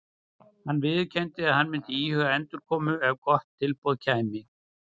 Hann viðurkenndi að hann myndi íhuga endurkomu ef gott tilboð kæmi.